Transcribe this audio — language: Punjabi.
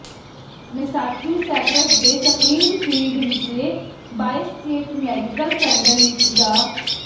ਮੈਸਾਚੂਸੈਟਸ ਦੇ ਸਪਰਿੰਗਫੀਲਡ ਵਿਚਲੇ ਬਾਏਸਟੇਟ ਮੈਡੀਕਲ ਸੈਂਟਰ ਵਿਚ ਡਾ